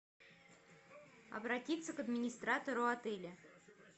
обратиться к администратору отеля